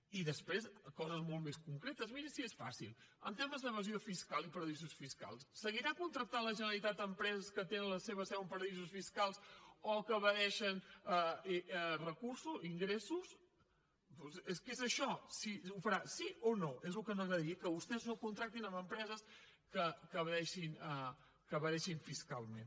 i després coses molt més concretes miri si és fàcil en temes d’evasió fiscal i paradisos fiscals seguirà contractant la generalitat empreses que tenen les seva seu en paradisos fiscals o que evadeixen ingressos és que és això ho farà sí o no és el que ens agradaria que vostès no contractin empreses que evadeixin fiscalment